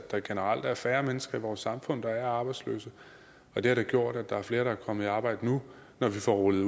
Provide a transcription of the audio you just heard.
der generelt er færre mennesker i vores samfund der er arbejdsløse og det har gjort at der er flere der er kommet i arbejde nu når vi får rullet